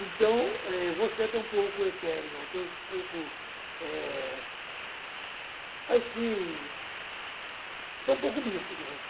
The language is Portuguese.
Então, eh, eu vou ser até um pouco etéreo, até um pouco, eh... assim, até um pouco místico, gente.